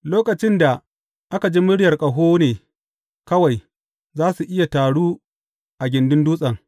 Lokacin da aka ji muryar ƙaho ne kawai za su iya taru a gindin dutsen.